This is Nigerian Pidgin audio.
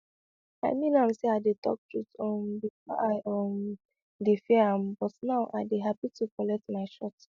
i mean am say i dey talk true um before i um dey fear am but now i dey happy to collect my shot